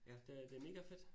Det det megafedt